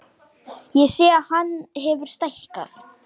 Ég sé að hann hefur stækkað.